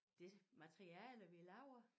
Det materiale vi laver